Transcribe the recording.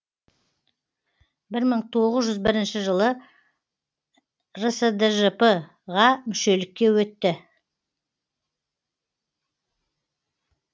бір мың тоғыз жүз бірінші жылы рсджп ға мүшелікке өтті